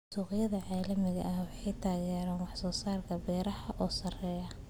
Suuqyada caalamiga ah waxaa taageera wax soo saarka beeraha oo sarreeya.